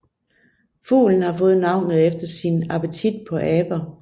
Fuglen har fået navnet efter sin appetit på aber